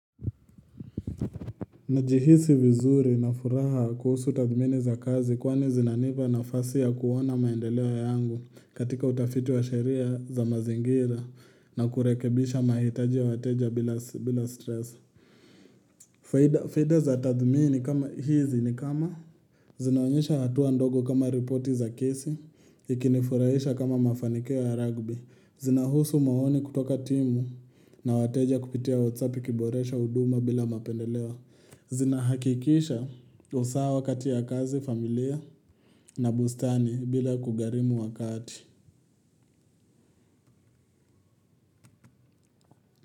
Najihisi vizuri na furaha kuhusu tathmini za kazi kwani zinanipa na fasi ya kuona maendeleo yangu katika utafiti wa sharia za mazingira na kurekebisha mahitaji ya wateja bila stress. Faida za tathmini kama hizi ni kama zinaonyesha hatua ndogo kama ripoti za kesi, ikinifurahisha kama mafanikio ya ragbi, zinahusu maoni kutoka timu na wateja kupitia whatsappi kiboresha uduma bila mapendelewa. Zina hakikisha usawa wakati ya kazi familia na bustani bila kugharimu wakati.